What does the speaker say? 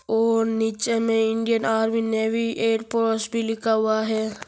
और नीचे में Indian army navy air force भी लिखा हुआ है ।